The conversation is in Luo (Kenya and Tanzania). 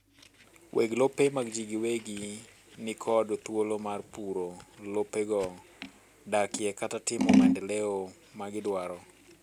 weg lope mag jii giwegi nikod thuolo mar puro lopego, dakie kata timo maendeleo magidwaro